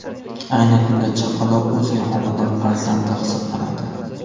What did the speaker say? Ayni kunda chaqaloq o‘zga xonadon farzandi hisoblanadi.